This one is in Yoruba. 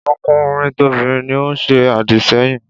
Tokunrin tobinrin ni ó ń se àdìsẹ́yìn.